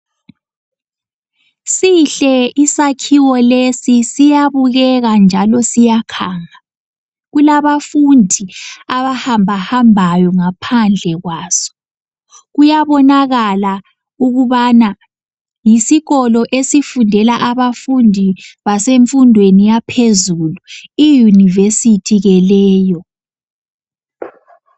Sihle isakhiwo lesi siyabukeka njalo siyakhanga , kulabafundi abahamba hambayo ngaphandle kwaso, kuyabonakala ukubana yisikolo esifundela abafundi basemfundweni yaphezulu iUniversity ke leyo.